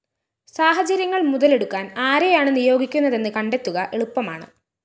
സാഹചര്യങ്ങള്‍ മുതലെടുക്കാന്‍ ആരെയാണ് നിയോഗിക്കുന്നതെന്ന് കണ്ടെത്തുക എളുപ്പമാണ്